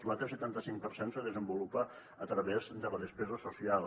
l’altre setanta cinc per cent es desenvolupa a través de la despesa social